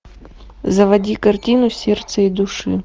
заводи картину сердце и души